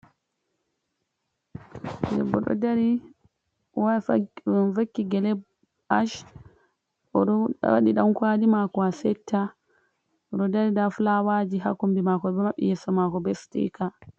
Ɓingel debbo ɗo dari oɗo vakki gele ash, o ɗo waɗi ɗan kwali mako asetta, o ɗo dari nda flawaji haa kombi mako o ɗo maɓɓi yeso mako be stika.